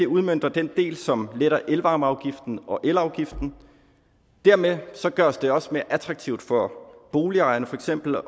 udmønter den del som letter elvarmeafgiften og elafgiften dermed gøres det også mere attraktivt for boligejerne for eksempel